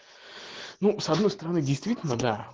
ну с одной стороны действительно да